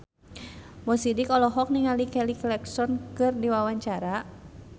Mo Sidik olohok ningali Kelly Clarkson keur diwawancara